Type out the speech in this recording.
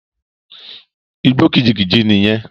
Igbó kìjikìji nì yẹn.